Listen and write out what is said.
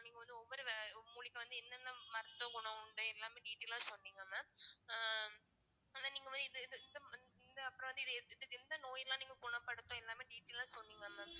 நீங்க வந்து ஒவ்வொரு மூலிகை வந்து என்னென்ன மருத்துவ குணம் உண்டு எல்லாமே detail அ சொன்னீங்க mam அஹ் ஆனா நீங்க இது இது இந்~ இந்~ இந்த எந்த நோயெல்லாம் நீங்க குணப்படுத்தும் எல்லாமே detail ஆ சொன்னீங்க mam